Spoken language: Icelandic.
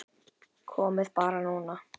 Komiði bara núna.